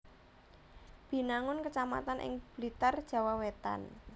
Binangun kecamatan ing Blitar Jawa Wétan